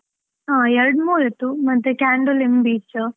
ಹ, ಎರಡ್ ಮೂರ್ ಇತ್ತು ಮತ್ತೆ Candolim beach .